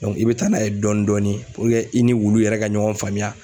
i be taa n'a ye dɔɔni dɔɔni i ni wulu yɛrɛ ka ɲɔgɔn faamuya.